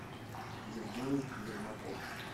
евгений ермаков